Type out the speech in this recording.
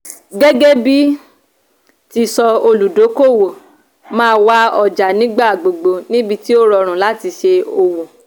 gẹ́gẹ́bí ti sọ òludókòowò má wá ọjà nígbà gbogbo nibiti ó rọrùn láti ṣe òwò.